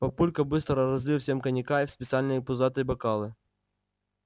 папулька быстро разлил всем коньяка в специальные пузатые бокалы